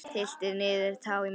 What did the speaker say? Tylltir niður tá í Mexíkó.